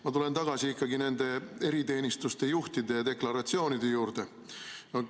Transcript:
Ma tulen tagasi eriteenistuste juhtide deklaratsioonide juurde.